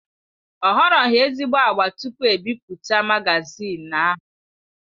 Ọ họrọghi ezigbo agba tupu e bipụta magazin ahụ.